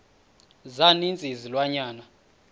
za ninzi izilwanyana